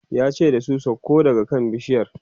yace da su "sauko daga kan bishiyar!"